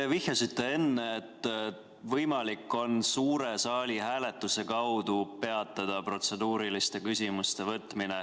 Te vihjasite enne, et võimalik on suure saali hääletuse kaudu peatada protseduuriliste küsimuste võtmine.